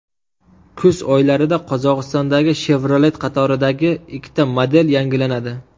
Kuz oylarida Qozog‘istondagi Chevrolet qatoridagi ikkita model yangilanadi.